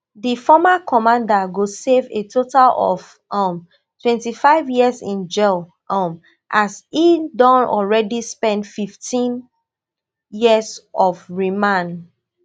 di former commander go serve a total of um twenty-five years in jail um as e don already spen fifteen years on remand